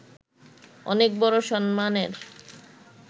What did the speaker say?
অনেক বড় সম্মানের